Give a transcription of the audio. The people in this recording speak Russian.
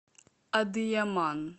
адыяман